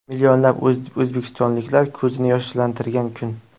Millionlab o‘zbekistonliklar ko‘zini yoshlantirgan kun.